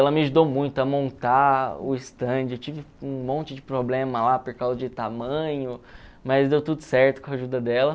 Ela me ajudou muito a montar o estande, eu tive um monte de problema lá por causa de tamanho, mas deu tudo certo com a ajuda dela.